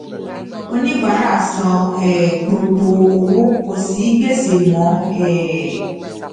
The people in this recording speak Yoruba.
oníbàárà san um gbogbo owó kò sí gbèsè mọ um